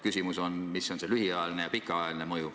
Küsimus on, milline on see lühiajaline ja pikaajaline mõju.